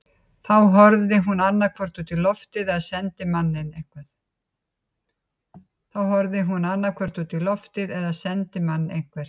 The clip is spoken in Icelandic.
Þá horfði hún annaðhvort út í loftið eða sendi mann eitthvert.